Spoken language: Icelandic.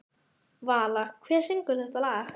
Vala, hver syngur þetta lag?